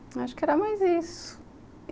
Acho que era mais isso.